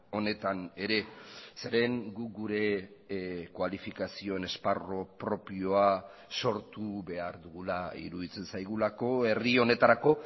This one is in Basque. honetan ere zeren guk gure kualifikazioen esparru propioa sortu behar dugula iruditzen zaigulako herri honetarako